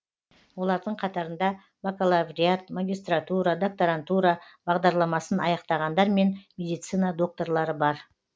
олардың қатарында бакалавриат магистратура докторантура бағдарламасын аяқтағандар мен медицина докторлары бар